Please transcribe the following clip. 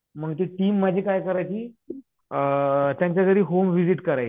मग ती टीम माझी काय करायची? अ त्यांच्या घरी होम विझिट करायची.